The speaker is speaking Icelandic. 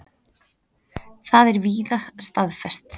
Það er víða staðfest.